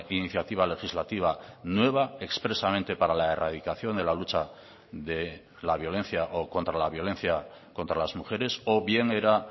iniciativa legislativa nueva expresamente para la erradicación de la lucha de la violencia o contra la violencia contra las mujeres o bien era